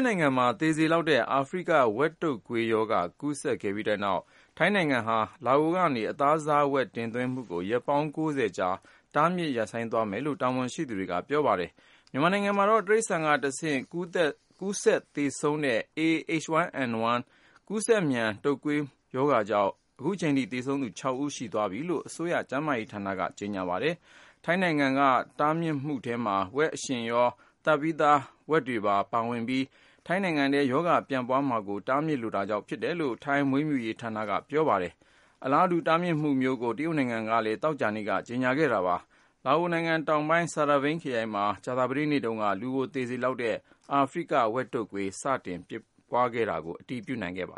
နိုင်ငံမှာ သေစေလောက်တဲ့ အာဖရိက ဝက်တုတ်ကွေးရောဂါ ကူးစက်ခဲ့ပြီးနောက် ထိုင်းနိုင်ငံဟာ လာအိုကနေ အသားစားဝက် တင်သွင်းမှုကို ရက်ပေါင်း ၉၀ ကြာ တားမြစ်ရပ်ဆိုင်းသွားမယ်လို့ တာဝန်ရှိသူတွေက ပြောပါတယ်။ မြန်မာနိုင်ငံမှာတော့ တိရစ္ဆာန်ကတဆင့် ကူးစက်သေဆုံးစေတဲ့ A-H1N1 ကူးစက်မြန်တုတ်ကွေးကြောင့် အခုချိန်ထိ သေဆုံးသူ ခြောက်ဦး ရှိသွားပြီလို့ အစိုးရကျန်းမာရေးဌာနက ကြေညာပါတယ်။ ထိုင်းနိုင်ငံက တားမြစ်မှုထဲမှာ ဝက်အရှင်တွေရော သတ်ပြီးသား ဝက်တွေရော ပါဝင်မှာဖြစ်ပြီး ထိုင်းနိုင်ငံထဲ ရောဂါပြန့်ပွားမှာကို တားမြစ်လိုတာကြောင့် ဖြစ်တယ်လို့ ထိုင်းမွေးမြူရေးဝန်ကြီးဌာနက သောကြာနေ့မှာ ပြောပါတယ်။ အလားတူ တားမြစ်မှုမျိုးကို တရုတ်နိုင်ငံကလည်း သောကြာနေ့က ကြေညာခဲ့ပါတယ်။ လာအိုနိုင်ငံ တောင်ပိုင်း Saravane ခရိုင်မှာ ကြာသပတေးနေတုန်းက လူကိုသေစေလောက်တဲ့ အာဖရိက ဝက်တုတ်ကွေး စတင်ဖြစ်ပွားတာကို အတည်ပြုနိုင်ခဲ့ပ